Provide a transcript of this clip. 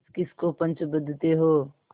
किसकिस को पंच बदते हो